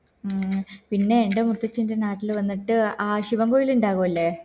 മ് പിന്നെ എൻ്റെ മുത്തച്ഛൻറെ നാട്ടില് വന്നിട്ട് ആശുവകങ്ങൾ ഇണ്ടാവില്ലേ